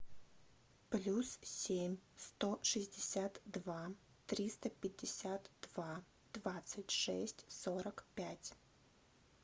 плюс семь сто шестьдесят два триста пятьдесят два двадцать шесть сорок пять